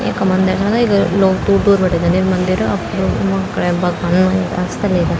इख मंदिर मा न इतगा लोग दूर दूर बटे जदिंन मंदिर अब त लोग म खुणे भगवानम अदिंन आस्था लेकै।